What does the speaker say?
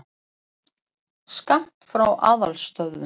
Skammt frá aðalstöðvunum.